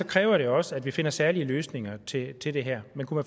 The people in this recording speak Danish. kræver det også at vi finder særlige løsninger til til det her men kunne